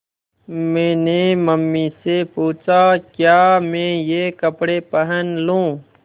मैंने मम्मी से पूछा क्या मैं ये कपड़े पहन लूँ